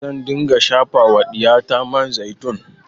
Zan dinga shafa wa ɗiyata man zaitun